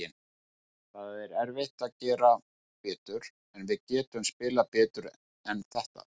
Það er erfitt að gera betur, en við getum spilað betur en þetta.